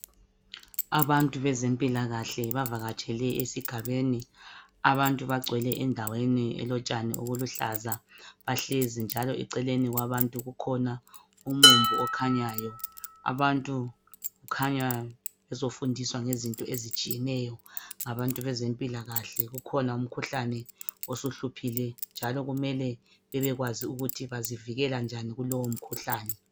Abantu bezempilaakahle bavakatshele esigabeni, abantu bagcwele indaweni elotshani oluluhlaza bahlezi njalo eceleni kwabantu kukhona umumbu okhanyayo. Abantu kukhanya bezofundiswa ngezinto ezitshiyeneyo ngabantu bezempila kahle, kukhona umkhuhlane osuhluphile njalo kumele bebekwazi ukuthi bazivikela njani kulowo mkhuhlane.